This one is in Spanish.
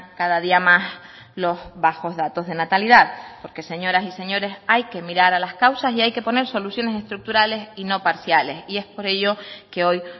cada día más los bajos datos de natalidad porque señoras y señores hay que mirar a las causas y hay que poner soluciones estructurales y no parciales y es por ello que hoy